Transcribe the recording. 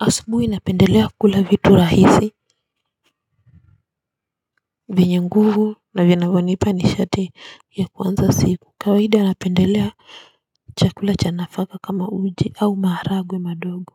Asubuhi napendelea kula vitu rahisi vyenye nguvu na vinavyonipa ni shate ya kuanza siku, kawaida napendelea chakula cha nafaka kama uji au maharagwe madogo.